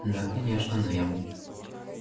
да конечно но я м